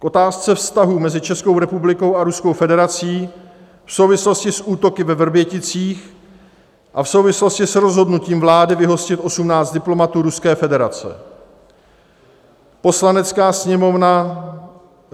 K otázce vztahů mezi Českou republikou a Ruskou federací v souvislosti s útoky ve Vrběticích a v souvislosti s rozhodnutím vlády vyhostit 18 diplomatů Ruské federace Poslanecká sněmovna